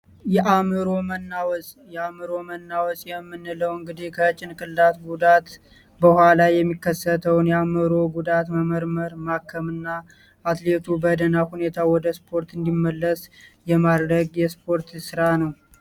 የአእምሮ መናወዝ የምንለው እንግዲህ ከጭንቅላት ጉዳት በኋላ የሚከሰተውን የአእምሮ ጉዳት መመርመር ማከምና አትሌቱ ወደ እስፖርቱ እንዲመለስ የማድረግ ስራ ነው።